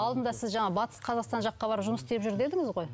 алдында сіз жаңа батыс қазақстан жаққа барып жұмыс істеп жүр дедіңіз ғой